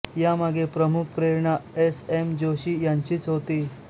यामागे प्रमुख प्रेरणा एस एम जोशी यांचीच होती